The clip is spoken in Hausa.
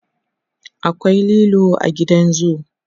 akwai lilo a gidan zoo